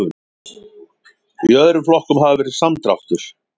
Í öðrum flokkum hafi verið samdráttur